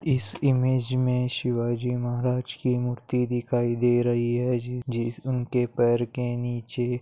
इस इमेज में शिवाजी महाराज की मूर्ति दिखाई दे रही है जि जिस उनके पेर के नीचे--